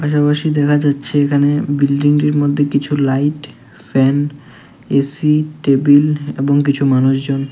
দেখা যাচ্ছে এখানে বিল্ডিংটির মধ্যে কিছু লাইট ফ্যান এ_সি টেবিল এবং কিছু মানুষজন।